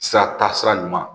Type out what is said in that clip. Sira ta sira ɲuman